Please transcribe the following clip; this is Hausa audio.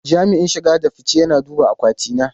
Jami'in shige da fice yana duba akwati na.